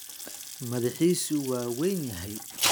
Madaxiisu waa weyn yahay.